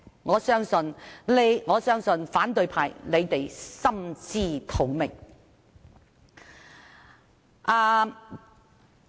我相信反對派心知肚明。